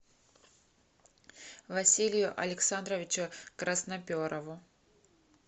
василию александровичу красноперову